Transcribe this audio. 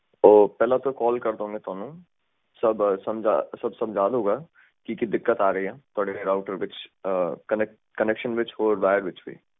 ਉਹ ਪਹਿਲਾ ਤੋਂ ਕਾਲ ਕਾਰਦਾਂਗੇ ਤੁਹਾਨੂੰ ਸਬ ਸਮਝਾ ਸਬ ਸਮਜਦੂੰਗਾ ਕਿ ਕੀ ਦਿੱਕਤ ਆ ਰਹੀ ਆ ਤੁਹਾਡੇ ਰਾਊਟਰ ਦੇ ਵਿੱਚ ਕੰਨੈਕਸ਼ਨ ਵਿੱਚ ਤੇ ਵਾਇਰ ਵਿੱਚ ਵੀ